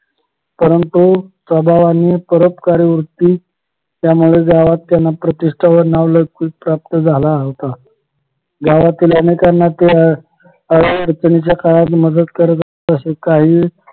परंतु स्वभावाने परोपकारी वृत्ती त्यामुळे गावात त्यांना प्रतिष्ठा व नाव लौकिक प्राप्त झाला होता गावातील अनेकांना ते अड अडचणीच्या काळात मदत करत तशे काही